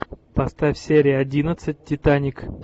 поставь серия одиннадцать титаник